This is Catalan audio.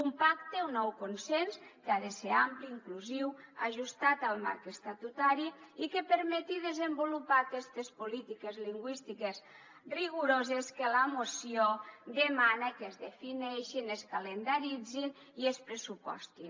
un pacte un nou consens que ha de ser ampli inclusiu ajustat al marc estatutari i que permeti desenvolupar aquestes polítiques lingüístiques rigoroses que la moció demana que es defineixin es calendaritzin i es pressupostin